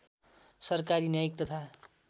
सरकारी न्यायिक तथा